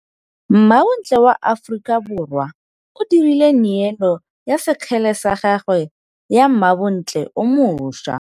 Mmabontle wa Aforika Borwa o dirile nêêlo ya sekgele sa gagwe go mmabontle o moša.